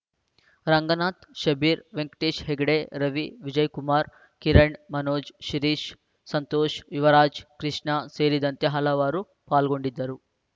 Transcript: ರಂಗನಾಥ್‌ಶಬ್ಬೀರ್‌ ವೆಂಕಟೇಶ್‌ ಹೆಗ್ಡೆ ರವಿ ವಿಜಯಕುಮಾರ್‌ ಕಿರಣ್‌ ಮನೋಜ್‌ ಸಿರೀಶ್‌ ಸಂತೋಷ್‌ ಯುವರಾಜ್‌ ಕೃಷ್ಣ ಸೇರಿದಂತೆ ಹಲವರು ಪಾಲ್ಗೊಂಡಿದ್ದರು